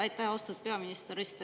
Aitäh, austatud peaminister!